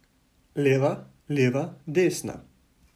Leva, leva, desna.